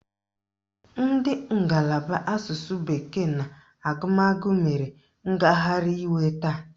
Ndị ngalaba asụsụ bekee na agụmagụ mere ngagharị iwe taa.